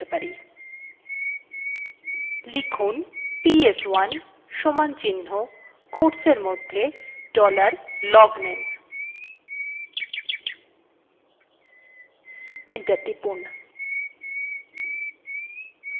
লিখুন ps1 সমানচিন্হ quotesএরমধ্যে dollar logname enter টিপুন